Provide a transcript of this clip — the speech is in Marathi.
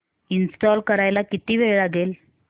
इंस्टॉल करायला किती वेळ लागेल